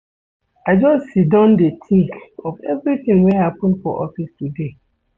I just siddon dey tink of everytin wey happen for office today.